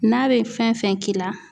N'a bɛ fɛn fɛn k'i la